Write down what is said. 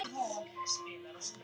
Það hrökkvi þó skammt.